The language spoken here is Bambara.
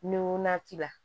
Ni o na t'i la